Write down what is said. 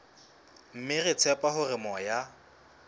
mme re tshepa hore moya